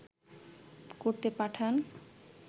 করতে পাঠান